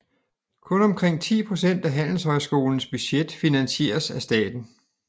Kun omkring 10 procent af handelshøjskolens budget finansieres af staten